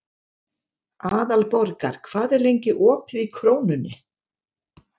Aðalborgar, hvað er lengi opið í Krónunni?